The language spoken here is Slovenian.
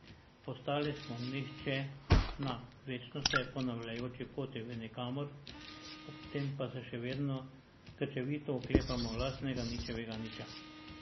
Postali smo nihče na večno se ponavljajoči poti v nikamor, ob tem pa se še vedno krčevito oklepamo lastnega ničevega niča.